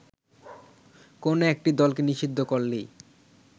কোন একটি দলকে নিষিদ্ধ করলেই